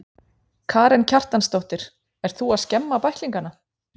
Karen Kjartansdóttir: Ert þú að skemma bæklingana?